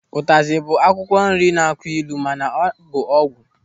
Ụtazi bụ akwụkwọ nri na-akụ ịlụ mana ọ bụ ọgwụ.